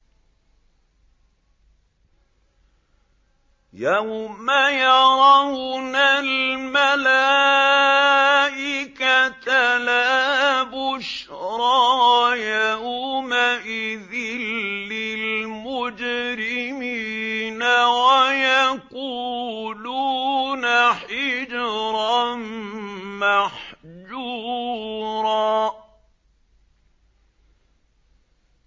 يَوْمَ يَرَوْنَ الْمَلَائِكَةَ لَا بُشْرَىٰ يَوْمَئِذٍ لِّلْمُجْرِمِينَ وَيَقُولُونَ حِجْرًا مَّحْجُورًا